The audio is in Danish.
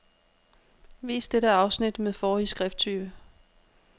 Vis dette afsnit med forrige skrifttype.